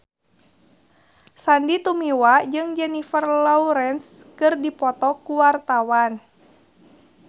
Sandy Tumiwa jeung Jennifer Lawrence keur dipoto ku wartawan